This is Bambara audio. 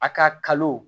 A ka kalo